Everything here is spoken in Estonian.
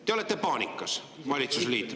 Te olete paanikas, valitsusliit.